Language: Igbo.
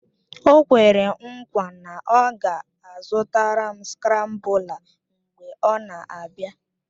O kwere nkwa na ọ ga-azụtara m skrambụla mgbe ọ na-abịa